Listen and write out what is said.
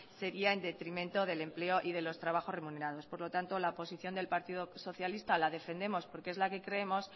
sería en detrimento del empleo y de los trabajos remunerados por lo tanto la posición del partido socialista la defendemos porque es la que creemos